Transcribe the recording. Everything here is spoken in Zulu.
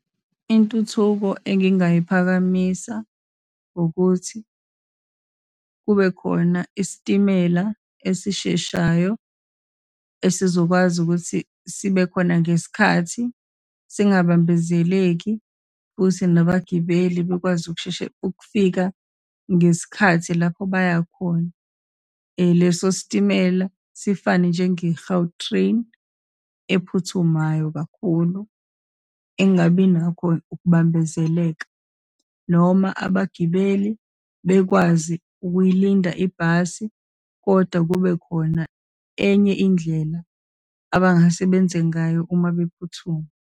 Intuthuko engingayiphakamisa ukuthi, kubekhona isitimela esisheshayo esizokwazi ukuthi sibekhona ngesikhathi, singabambezeleki, kuthi nabagibeli bekwazi ukusheshe, ukufika ngesikhathi lapho bayakhona. Leso sitimela sifane njenge-Gautrain, ephuthumayo kakhulu, engabinakho ukubambezeleka, noma abagibeli bekwazi ukuyilinda ibhasi, kodwa kubekhona enye indlela abangase benze ngayo uma bephuthuma.